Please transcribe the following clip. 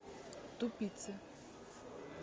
тупицы